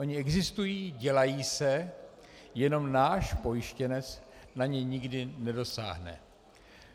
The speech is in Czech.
Ony existují, dělají se, jenom náš pojištěnec na ně nikdy nedosáhne.